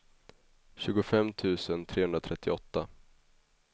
tjugofem tusen trehundratrettioåtta